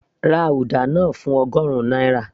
ra uda náà fún ọgọrun náírà